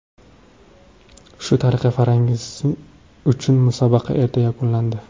Shu tariqa Farangiz uchun musobaqa erta yakunlandi.